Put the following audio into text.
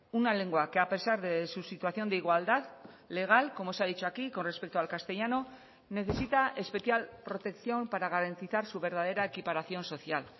una lengua que a pesar de su situación de igualdad legal como se ha dicho aquí con respecto al castellano necesita especial protección para garantizar su verdadera equiparación social